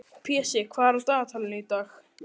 Pési, hvað er á dagatalinu í dag?